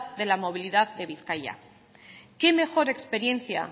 de la movilidad de bizkaia qué mejor experiencia